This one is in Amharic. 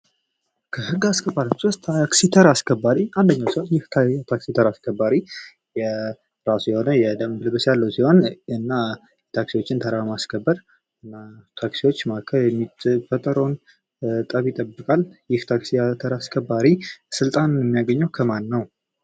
ከህግ አስከባሪዎች ውስጥ የታክሲ ተራ አስከባሪ አንደኛው ሲሆን የታክሲ ተራ አስከባሪ የራሱ የሆነ ልብስ ያለው ሲሆን እና ታክሲዎችን ተራ በማስከበር በታክሲዎች መካከል የሚፈጠረውን ጠብ ይጠብቃል። ይህ ታክሲ ተራ አስከባሪ ስልጣኑን የሚያገኘው ከማን ነው?